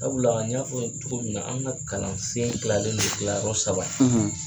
Sabula n ɲa fɔ ye o cogo na an ka kalansen kilalen non kilayɔrɔ saba